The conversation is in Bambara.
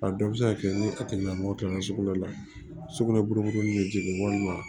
A dɔw bɛ se ka kɛ ni a tigilamɔgɔ kɛra sugunɛ la sugunɛ buru min be jigin walima